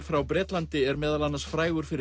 frá Bretlandi er meðal annars frægur fyrir